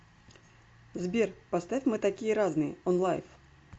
сбер поставь мы такие разные онлайф